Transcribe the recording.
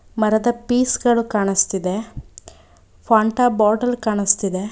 ಮರದ ಫೀಸ ಗಳು ಕಾಣುತ್ತಿದೆ ಫಾಂಟ ಬಾಟಲ್ ಕಾಣುಸ್ತಿದೆ.